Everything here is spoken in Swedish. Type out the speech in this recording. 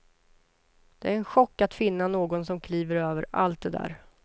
Det är en chock att finna någon som kliver över allt det där.